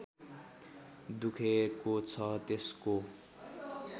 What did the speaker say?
दुखेको छ त्यसको